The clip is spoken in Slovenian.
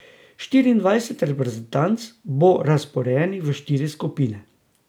Štiriindvajset reprezentanc bo razporejenih v štiri skupine.